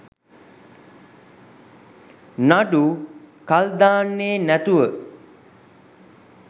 නඩු කල් දාන්නෙ නැතුව